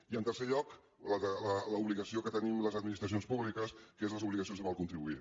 i en tercer lloc l’obligació que tenim les administracions públiques que són les obligacions amb el contribuent